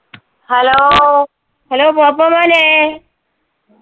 hello, hello പോപ്പോ മോനെ